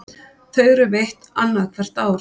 Þau eru veitt annað hvert ár